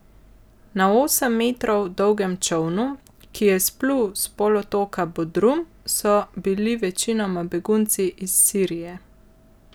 Na osem metrov dolgem čolnu, ki je izplul s polotoka Bodrum, so bili večinoma begunci iz Sirije.